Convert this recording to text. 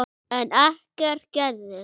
En ekkert gerist.